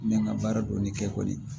N bɛ n ka baara dɔɔnin kɛ kɔni